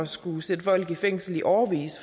skulle sætte folk i fængsel i årevis